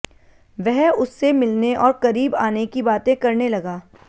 वह उससे मिलने और करीब आने की बातें करने लगा